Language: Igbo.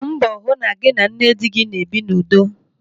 Gbaa mbọ hụ na gị na nne dị na-ebi n'udo.